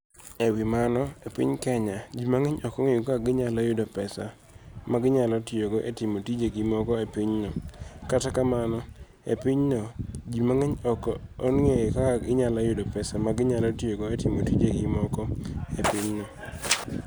E wi mano, e piniy Keniya, ji manig'eniy ok onig'eyo kaka iniyalo yudo pesa ma giniyalo tiyogo e timo tije moko e piny no. Kata kamano, e piny no, ji manig'eniy ok onig'eyo kaka iniyalo yudo pesa ma giniyalo tiyogo e timo tije moko e piny no.